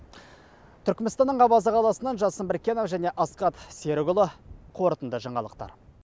түрікменстанның аваза қаласынан жасын біркенов және асхат серікұлы қорытынды жаңалықтар